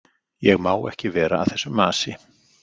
Ég má ekki vera að þessu masi.